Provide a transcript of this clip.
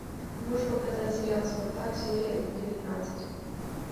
можешь показать сериал спартак серия девятнадцать